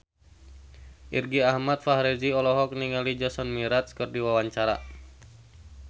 Irgi Ahmad Fahrezi olohok ningali Jason Mraz keur diwawancara